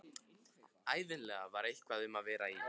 Ævinlega var eitthvað um að vera í